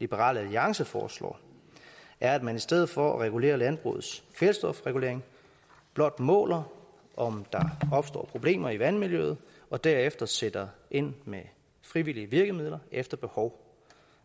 liberal alliance foreslår er at man i stedet for at regulere landbrugets kvælstofregulering blot måler om der opstår problemer i vandmiljøet og derefter sætter ind med frivillige virkemidler efter behov